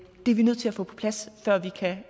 er vi nødt til at få på plads før vi kan